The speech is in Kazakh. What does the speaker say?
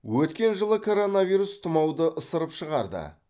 өткен жылы коронавирус тұмауды ысырып шығарды